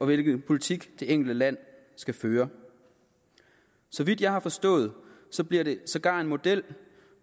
hvilken politik det enkelte land skal føre så vidt jeg har forstået bliver det sågar en model